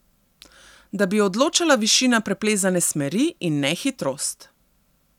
Da bi odločala višina preplezane smeri, in ne hitrost.